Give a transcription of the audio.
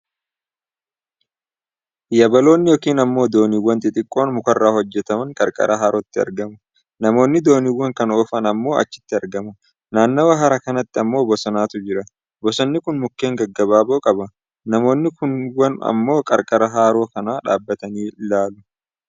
Yabalooonni Yookiin ammoo dooniwwan xixiqqoon mukarraa hojjataman qarqara harootti argamu. Namoonni dooniiwwan kana oofan ammoo achitti argamu. Naannawa hara kanaatti ammoo bosonatu jira. bosonni kun mukkeen gaggabaaboo qaba. namoonni kuuwwan ammoo qarqara haroo kanaa dhaabatanii ilaalu.